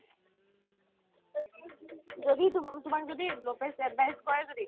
যদি তুমাক যদি advice কৰে যদি